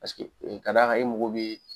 ka d'a kan i mago bɛ